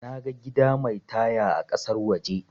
Naga gida mai taya a kasar waje